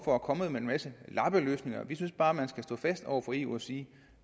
for at komme med en masse lappeløsninger vi synes bare at man skal stå fast over for eu og sige at